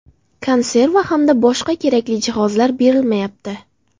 Konserva hamda boshqa kerakli jihozlar berilmayapti.